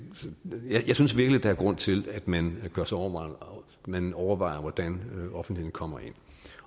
osv jeg synes virkelig der er grund til at man man overvejer hvordan offentligheden kommer ind